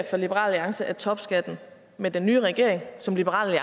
for liberal alliance at topskatten med den nye regering som liberal